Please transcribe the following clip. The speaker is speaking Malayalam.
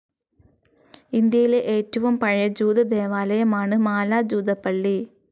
ഇന്ത്യയിലെ ഏറ്റവും പഴയ ജൂത ദേവാലയമാണ് മാല ജൂതപ്പള്ളി.